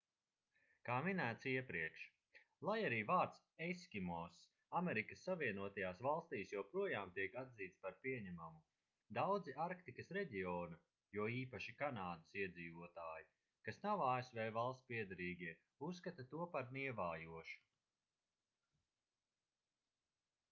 kā minēts iepriekš lai arī vārds eskimoss amerikas savienotajās valstīs joprojām tiek atzīts par pieņemamu daudzi arktikas reģiona jo īpaši kanādas iedzīvotāji kas nav asv valstspiederīgie uzskata to par nievājošu